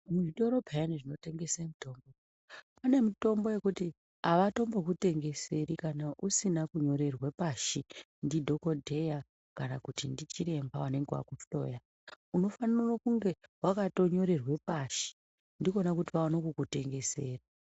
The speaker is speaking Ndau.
Muzvitoro peyani zvinotengesa mitombo mune mitombo yekuti avatombokutengeseri kana usina kunyorerwa pashi ndidhokodheya kana kuti ndichiremba anenga akuhloya unofanira kunge wakatonyorerwa pashi ndikona kuti vaone kukutengesera.